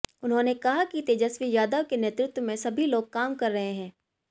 उन्हाेंने कहा कि तेजस्वी यादव के नेतृत्व में सभी लोग काम कर रहे हैं